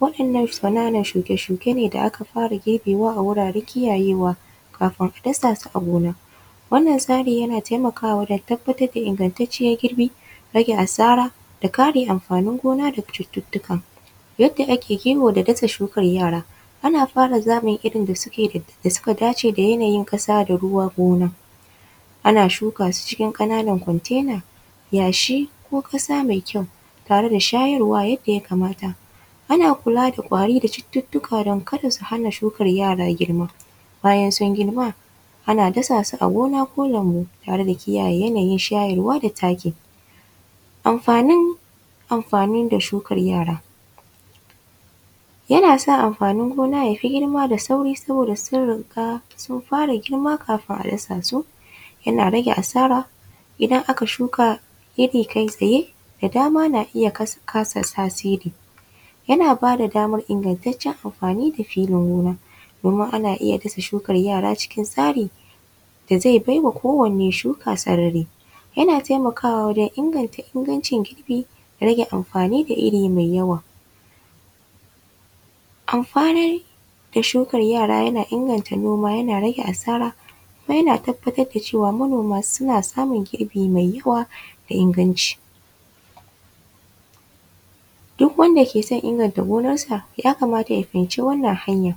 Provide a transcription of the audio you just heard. Waɗannan ƙananan shuke-shuke ne da aka fara girbewa a wuraren kiyayewa kafin a dasa su a gona. Wannan tsarin yana taimakawa wajen tabbatar da ingantacciyar girbi, rage asara da kare amfanin gona daga cututtuka. Yadda ake kiwo da dasa shukar yara: ana fara zaɓin irin da suke da… da suka dace da yanayin ƙasa da yanayin ruwan gona. Ana shuka su cikin ƙananan container, Yashi ko ƙasa mai kyau tare da shayarwa yadda ya kamata. Ana kulada ƙwari da cututtuka don kada su hana shukar yara girma. Bayan sun girma, ana dasa su a gona ko lambu, tare da kiyaye yanayin shayarwa da taki. Amfanin amfanin da shukar yara: yana sa amfanin gona ya fi girma da sauri saboda tsirrika sun fara girma kafin a dasa su. Yana rage asara idan aka shuka gefe kai tsaye da dama na iya kasa tasiri. Yana ba da damar ingantaccen amfani da filin noma domin ana iya dasa shukar yara cikin tsari da zai bai wa kowanne shuka sarari. Yana taimakwa wajen inganta ingancin girbi, rage amfani da iri mai yawa. Amfanar da shukar yara na inganta noma, yana rage asara, kuma yana tabbarda cewa manoma suna samun girbi mai yawa da inganci. Duk wanda ke son inganta gonarsa ya kamata ya fahimci wannan hanyar.